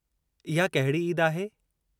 इहा कहिड़ी ईद आहे?